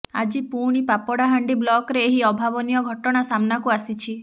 ଆଜି ପୁଣି ପାପଡାହାଣ୍ଡି ବ୍ଲକରେ ଏହି ଅଭାବନୀୟ ଘଟଣା ସାମ୍ନାକୁ ଆସିଛି